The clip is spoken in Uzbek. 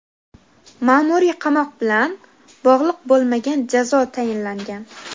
ma’muriy qamoq bilan bog‘liq bo‘lmagan jazo tayinlangan.